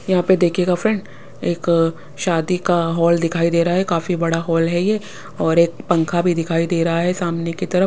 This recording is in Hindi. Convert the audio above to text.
यहाँ पे देखिएगा फ्रेंड एक शादी का हॉल दिखाई दे रहा है काफी बड़ा हॉल है ये और एक पंखा भी दिखाई दे रहा है सामने की तरफ--